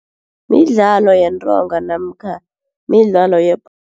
Midlalo yentonga namkha midlalo